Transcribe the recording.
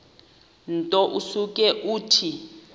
nto usuke uthi